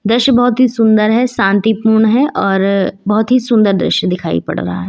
दृश्य बहुत ही सुंदर है शांतिपूर्ण है और बहुत ही सुंदर दृश्य दिखाई पड़ रहा है।